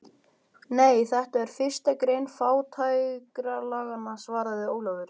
Nei, þetta er fyrsta grein fátækralaganna, svaraði Ólafur.